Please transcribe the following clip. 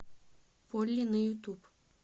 полли на ютуб